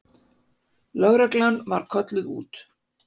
Lögreglan var kölluð út.